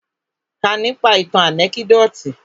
Kà nípa ìtàn ànẹ́kídòtì!